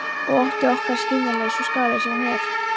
Og ótti okkar er skiljanlegur, svo skaðlegur sem hann er.